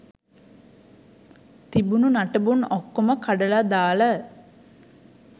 තිබුන නටබුන් ඔක්කොම කඩල දාල